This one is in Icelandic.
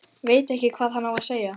Veit ekki hvað hann á að segja.